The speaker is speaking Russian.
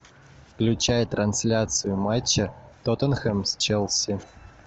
включай трансляцию матча тоттенхэм с челси